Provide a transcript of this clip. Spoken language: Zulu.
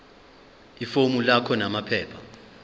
ifomu lakho namaphepha